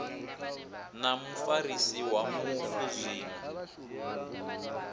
na mufarisi wa mufu zwino